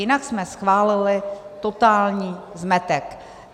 Jinak jsme schválili totální zmetek.